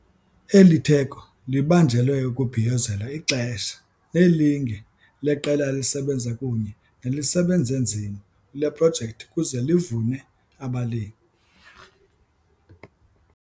Eli theko libanjelwe ukubhiyozela ixesha nelinge leqela elisebenza kunye nelisebenze nzima kule projekthi ukuze livune abalimi.